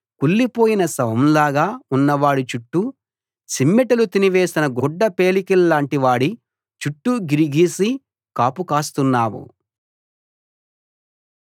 కుళ్ళిపోయిన శవంలాగా ఉన్నవాడి చుట్టూ చిమ్మటలు తినివేసిన గుడ్డపేలికలాంటివాడి చుట్టూ గిరి గీసి కాపు కాస్తున్నావు